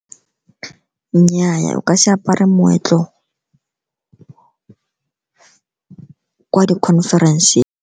Nnyaa, o ka se apare moetlo kwa di-conference.